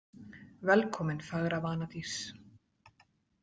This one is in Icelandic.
Velkomin, fagra vanadís